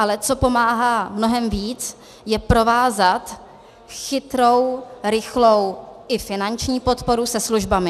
Ale co pomáhá mnohem víc, je provázat chytrou, rychlou i finanční podporu se službami.